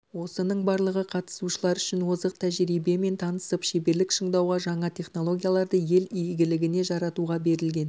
осының барлығы қатысушылар үшін озық тәжірибемен танысып шеберлік шыңдауға жаңа технологияларды ел игілігіне жаратуға берілген